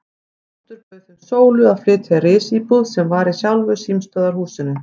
Oddur bauð þeim Sólu að flytja í risíbúð sem var í sjálfu símstöðvarhúsinu.